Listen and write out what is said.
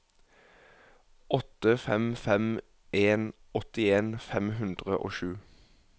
åtte fem fem en åttien fem hundre og sju